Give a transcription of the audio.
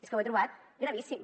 és que ho he trobat gravíssim